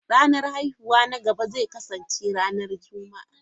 Ranar haihuwa na gaba zai kasance ranar Juma'a.